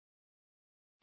spoken tutorial